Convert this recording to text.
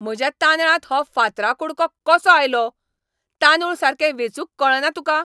म्हज्या तांदळांत हो फातरा कुडको कसो आयलो? तांदूळ सारके वेचूंक कळना तुका?